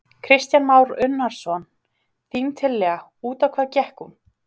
Kristján Már Unnarsson: Þín tillaga, út á hvað gekk hún?